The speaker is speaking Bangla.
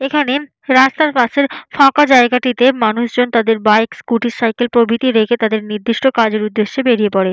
এখানে রাস্তার পাশের ফাঁকা জায়গাটিতে মানুষজন তাদের বাইক স্কুটি সাইকেল প্রভৃতি রেখে তাদের নির্দিষ্ট কাজের উদ্দেশ্যে বেরিয়ে পড়ে।